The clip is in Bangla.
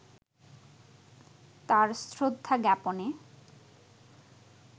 তার শ্রদ্ধাজ্ঞাপনে